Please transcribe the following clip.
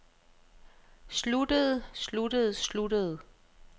sluttede sluttede sluttede